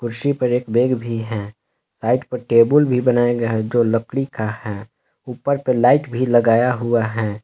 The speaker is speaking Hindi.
कुर्सी पर एक बैग भी है साइड पर टेबल भी बनाया गया है जो लकड़ी का है ऊपर पे लाइट भी लगाया हुआ है।